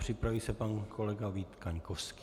Připraví se pan kolega Vít Kaňkovský.